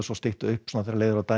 stytta upp þegar leið á daginn